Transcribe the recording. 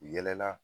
U yɛlɛla